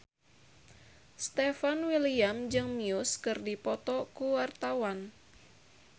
Stefan William jeung Muse keur dipoto ku wartawan